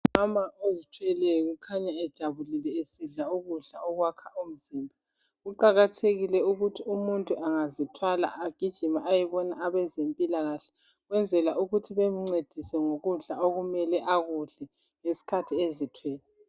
Umama ozithweleyo ukhanya ejabulile esidla ukudla okwakha umzimba, kuqakathekile ukuthi umuntu angazithwala agijime ayebona abezempilakahle kwenzela ukuthi bemncediswe ngokudla okumele akudle ngesikhathi ezithwele.